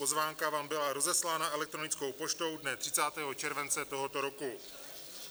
Pozvánka vám byla rozeslána elektronickou poštou dne 30. července tohoto roku.